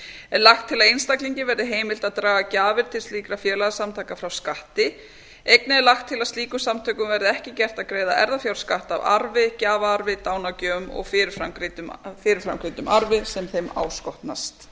er lagt til að einstaklingi verði heimilt að draga gjafir til slíkra félagasamtaka frá skatti einnig er lagt til að slíkum samtökum verði ekki gert að greiða erfðafjárskatt af arfi gjafaarfi dánargjöfum og fyrirframgreiddum arfi sem þeim áskotnast